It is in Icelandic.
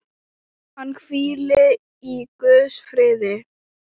Hann hvíli í Guðs friði.